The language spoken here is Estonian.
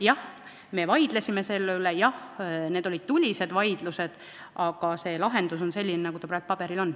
Jah, me vaidlesime selle üle, jah, need olid tulised vaidlused, aga lahendus on selline, nagu see praegu paberil on.